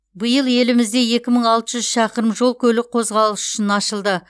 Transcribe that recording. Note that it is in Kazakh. биыл елімізде екі мың алты жүз шақырым жол көлік қозғалысы үшін ашылды